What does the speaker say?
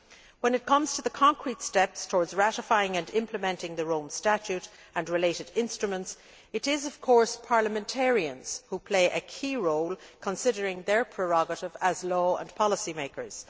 When it comes to the concrete steps towards ratifying and implementing the Rome Statute and related instruments, it is of course parliamentarians who play a key role, considering their prerogative as law and policymakers.